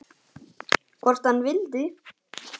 Hvort hann vildi!